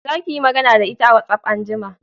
Za ki yi magana da ita a watsaf anjima